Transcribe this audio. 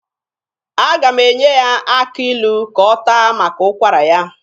Aga m enye ya akị ilu ka ọ taa maka ụkwara ya.